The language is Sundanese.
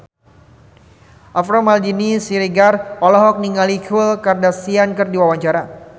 Alvaro Maldini Siregar olohok ningali Khloe Kardashian keur diwawancara